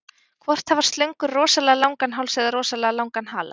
Hvort hafa slöngur rosalega langan háls eða rosalega langan hala?